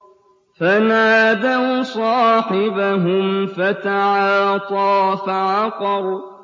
فَنَادَوْا صَاحِبَهُمْ فَتَعَاطَىٰ فَعَقَرَ